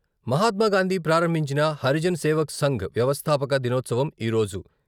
మహాత్మాగాంధీ ప్రారంభించిన హరిజన్ సేవక్ సంఘ్ వ్యవస్థాపక దినోత్సవం ఈరోజు.